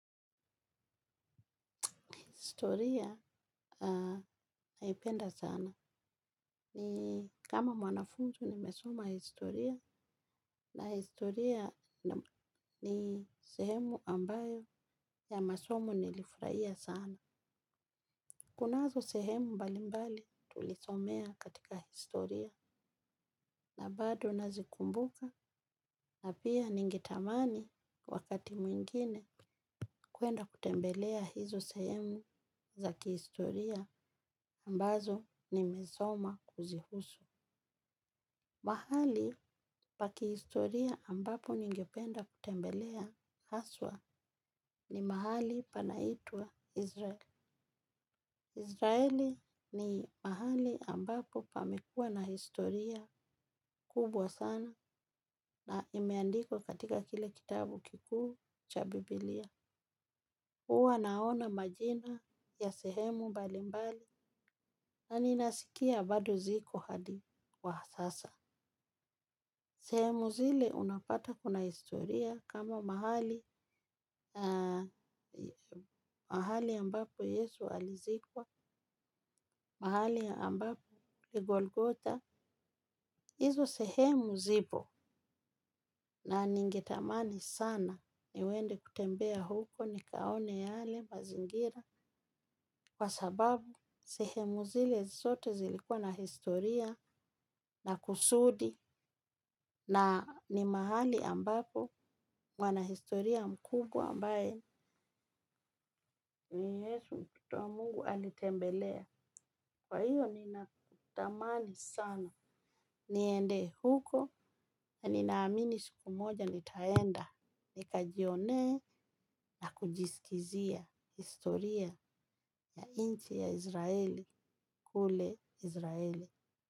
Historia naipenda sana. Kama mwanafunzi nimesoma historia na historia ni sehemu ambayo ya masomo nilifurahia sana. Kunazo sehemu mbali mbali tulisomea katika historia na bado nazikumbuka na pia ningetamani wakati mwingine kuenda kutembelea hizo sehemu za kihistoria ambazo nimesoma kuzihusu. Mahali pa kihistoria ambapo ningependa kutembelea haswa ni mahali panaitwa Israeli. Israeli ni mahali ambapo pamekua na historia kubwa sana na imeandikwa katika kile kitabu kikuu cha Biblia. Huwa naona majina ya sehemu mbalimbali na ninasikia bado ziko hadi kwa sasa. Sehemu zile unapata kuna historia kama mahali mahali ambapo Yesu alizikwa, mahali ambapo ni Golgotha. Hizo sehemu zipo na ningetamani sana niende kutembea huko nikaone yale mazingira. Kwa sababu sehemu zile zote zilikuwa na historia na kusudi, na ni mahali ambapo mwanahistoria mkubwa ambaye ni Yesu mtoto wa Mungu alitembelea. Kwa hivyo, ninatamani sana niende huko na ninaamini siku moja nitaenda nikajione na kujisikizia historia ya nchi ya Izraeli kule Izraeli.